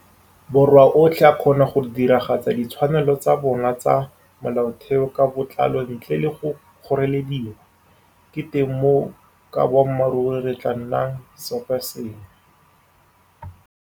Borwa otlhe a kgona go diragatsa ditshwanelo tsa bona tsa molaotheo ka botlalo ntle le go kgorelediwa, ke teng moo ka boammaruri re tla nnag seoposengwe.